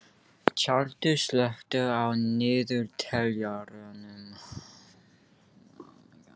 Tjaldur, slökktu á niðurteljaranum.